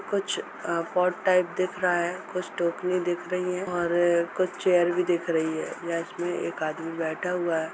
कुछ आ pot type दिख रहा हैकुछ टोकरी दिख रही है और कुछ चेयर भी दिख रही है या इस में एक आदमी बैठ हुआ है।